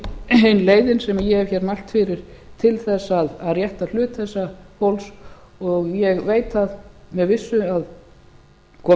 ein leiðin sem ég hef hér mælt fyrir til þess að rétta hlut þessa fólks og ég veit með vissu að komist